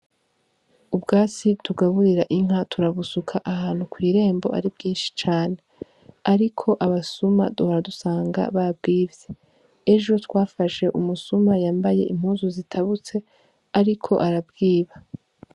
Ubwatsi tugaburira inka turabusuka ahantu kw'irembo ari bwinshi cane, ariko abasuma duhora dusanga babwivye, ejo twafashe umusuma yambaye impuzu zitabutse ariko arabwiba.